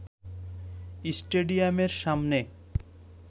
স্টেডিয়ামের সামনে